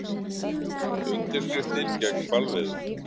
Undirskriftir gegn hvalveiðum